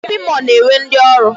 Shopping mall na-enwe ndị ọrụ.